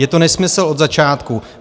Je to nesmysl od začátku.